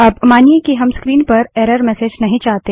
अब मानिए कि हम स्क्रीन पर एरर मेसेज नहीं चाहते